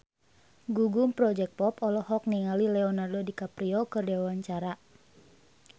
Gugum Project Pop olohok ningali Leonardo DiCaprio keur diwawancara